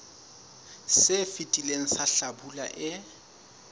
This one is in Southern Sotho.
se fetileng sa hlabula e